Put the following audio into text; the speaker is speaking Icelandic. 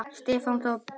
Stefán Þór Bogason